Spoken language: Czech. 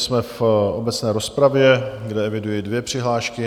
Jsme v obecné rozpravě, kde eviduji dvě přihlášky.